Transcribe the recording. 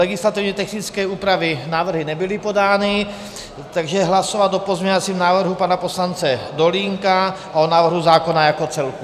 Legislativně technické úpravy - návrhy nebyly podány, takže hlasovat o pozměňovacím návrhu pana poslance Dolínka a o návrhu zákona jako celku.